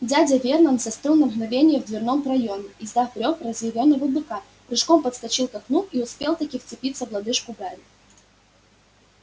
дядя вернон застыл на мгновение в дверном проёме издав рёв разъярённого быка прыжком подскочил к окну и успел-таки вцепиться в лодыжку гарри